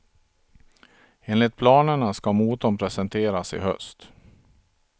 Enligt planerna ska motorn presenteras i höst.